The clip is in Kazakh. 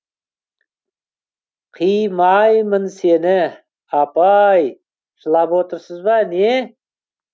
қи май мын сені апай жылап отырсыз ба не